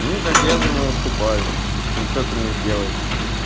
ну так я за него вступаюсь ну что ты мне сделаешь